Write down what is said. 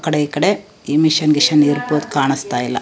ಆಕಡೆ ಈಕಡೆ ಈ ಮಿಷನ್ ಗಿಶನ್ ಇರಬಹುದು ಕಾಣಸ್ತಾ ಇಲ್ಲಾ.